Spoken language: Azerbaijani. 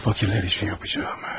Bunu fakirlər üçün yapacağam.